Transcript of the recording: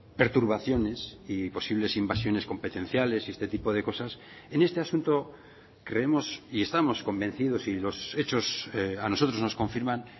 perturbaciones y posibles invasiones competenciales y este tipo de cosas en este asunto creemos y estamos convencidos y los hechos a nosotros nos confirman